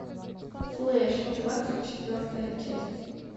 флэш двадцать четвертая часть